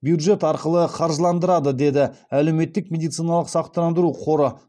бюджет арқылы қаржыландырады деді әлеуметтік медициналық сақтандыру қоры